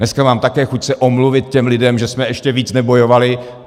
Dneska mám také chuť se omluvit těm lidem, že jsme ještě víc nebojovali.